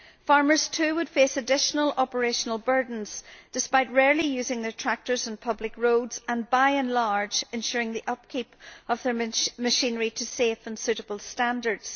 Farmers too would face additional operational burdens despite rarely using their tractors on public roads and by and large ensuring the upkeep of their machinery to safe and suitable standards.